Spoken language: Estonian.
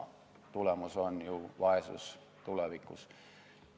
Tulemus on ju vaesus tulevikus.